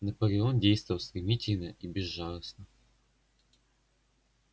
наполеон действовал стремительно и безжалостно